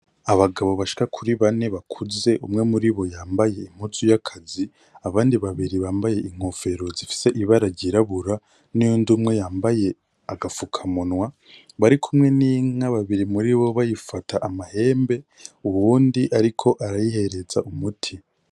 Abagabo bashika kuri bane bakuze umwe muribo yambaye impuzu y'akazi, abandi babiri bambaye inkofero zifise ibara ryirabura n'uyundi umwe yambaye agapfukamunwa, barikumwe n'inka babiri muribo bayifata amahembe uwundi ariko arayihereza umuti.